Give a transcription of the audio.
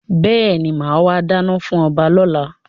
Bẹ́ẹ̀ni, máa wà dáná fún ọba lọ́la.